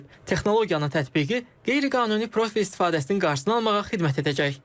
Texnologiyanın tətbiqi qeyri-qanuni profil istifadəsinin qarşısını almağa xidmət edəcək.